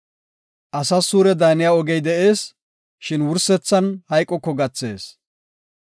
Asas suure daaniya ogey de7ees; shin wursethan hayqoko gathees.